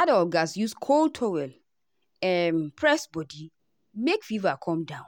adults gatz use cold towel um press body make fever come down